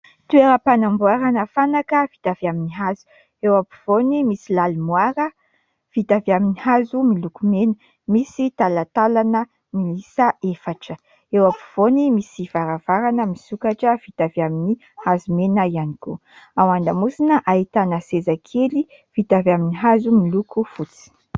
Toeram-panamboarana fanaka vita avy amin'ny hazo eo am-pivoany, misy lalimoara vita avy amin'ny hazo miloko mena, misy talatalana miisa efatra. Eo am-pivoany, misy varavarana misokatra vita avy amin'ny hazo mena ihany koa. Ao andamosina ahitana seza kely vita avy amin'ny hazo miloko fotsy.